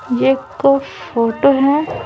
ये एक फोटो है।